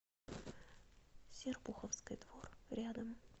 серпуховской двор рядом